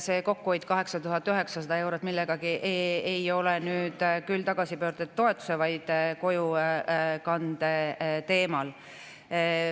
See kokkuhoid 8900 eurot millegagi ei tule nüüd küll tagasipöörduja toetuse, vaid kojukande teemal.